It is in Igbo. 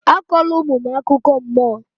Akọla ụmụ m akụkọ mmụọ!